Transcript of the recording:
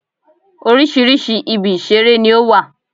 Oríṣiríṣi ibi ìṣeré ni ó wà